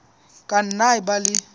ka nna a ba le